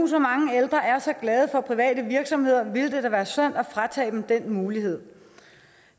er så glade for private virksomheder ville det da være synd at fratage dem den mulighed